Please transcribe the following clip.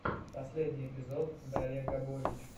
последний эпизод дарья габович